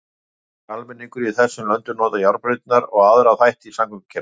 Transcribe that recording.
Allur almenningur í þessum löndum notar járnbrautirnar og aðra þætti í samgöngukerfinu.